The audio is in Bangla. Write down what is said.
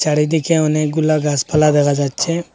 চারিদিকে অনেকগুলা গাসপালা দেখা যাচ্ছে।